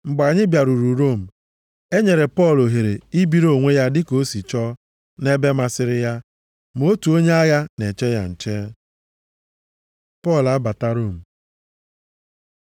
Mgbe anyị bịaruru Rom, e nyere Pọl ohere ibiri onwe ya dịka o si chọọ nʼebe masịrị ya. Ma otu onye agha na-eche ya nche. Pọl abata Rom